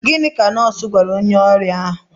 Gịnị ka nọọsụ gwara onye ọrịa ahụ?